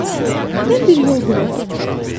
Qulaq as, mən bir yol bilirəm.